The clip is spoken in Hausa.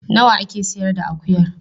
Nawa a ke sayar da kan akuyar?